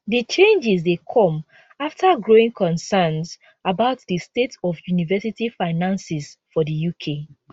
di changes dey come afta growing concerns about di state of university finances for di uk